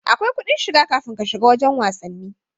Akwai kudin shiga kafin ka shiga wajan wasanni